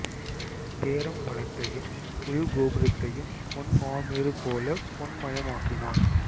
பேரம்பலத்தையும் உள் கோபுரத்தையும் பொன் மாமேரு போலப் பொன் மயமாக்கினான்